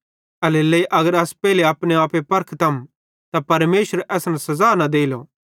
एल्हेरेलेइ अगर अस पेइले अपनो आप परखम त परमेशर असन सज़ा न देलो